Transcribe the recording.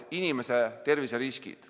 ... terviseriskid.